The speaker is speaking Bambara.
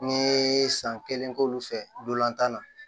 N ye san kelen k' olu fɛ dolantan na